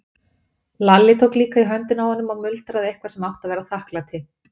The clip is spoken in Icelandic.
Lalli tók líka í höndina á honum og muldraði eitthvað sem átti að vera þakklæti.